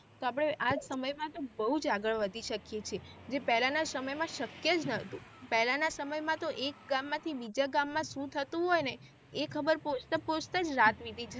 તો આપડે આ સમય માં તો બહુજ આગળ વધી શકીયે છીએ જે પહેલાના સમય માં શક્ય જ નાતુ પહેલાના સમય માં તો એક ગામમાં થી બીજા ગામમાં સુ થતું હોય ને એ ખબર પોહ્ચ્તા પોહ્ચ્તા જરાત .